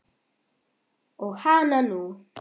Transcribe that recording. Og hananú!